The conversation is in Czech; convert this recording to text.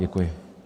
Děkuji.